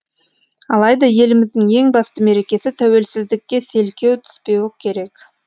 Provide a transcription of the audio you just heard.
алайда еліміздің ең басты мерекесі тәуелсіздікке селкеу түспеуі керек